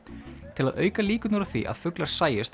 til að auka líkurnar á því að fuglar sæjust